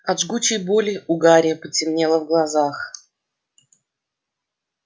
от жгучей боли у гарри потемнело в глазах